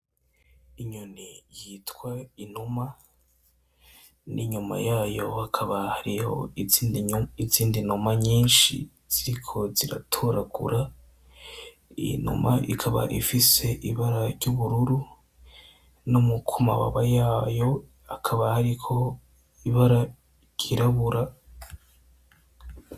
Inyoni yitwa inuma ,n'inyuma yayo hakaba hariyo izindi numa nyinshi ziriko ziratoragura. Iyo numa ikaba ifis'ibara ry'ubururu noku mababa yayo hakaba hariko ibara ryirabura.